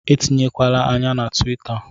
Etinyekwala ányá na tuwita